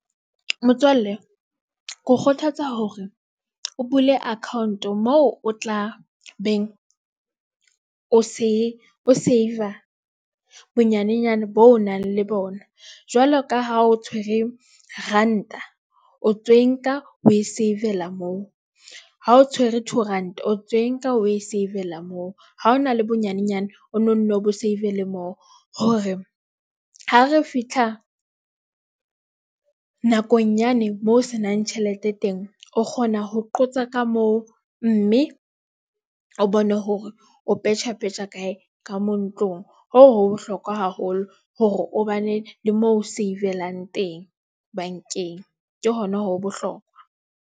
Motswalle ke ho kgothatsa hore o bule account mo o tla beng o save-a bonyanenyana bo nang le bona. Jwaloka ha o tshwere ranta o tswe nka o e save-ela moo ha o tshwere two, ranta o tswe nka o e save-la moo ha hona le bonyanenyana o nonne bo save le moo. Hore ha re fitlha nakong yane moo se nang tjhelete teng, o kgona ho qotsa ka moo mme o bone hore o petjha petjha kae ka ntlong. Hoo ho bohlokwa haholo hore o bane le moo o save-elang teng bankeng ke hona ho bohlokwa.